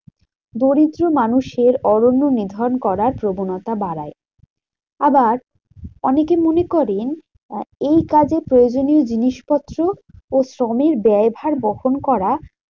দরিদ্র মানুষের অরণ্য নিধন করার প্রবণতা বাড়ায়। আবার অনেকে মনে করেন এই কাজে প্রয়োজনীয় জিনিসপত্র ও শ্রমের ব্যয় ভার বহন করা